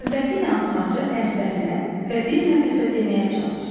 Növbəti yanılmaçı əzbərlə və bir nəfəsə deməyə çalış.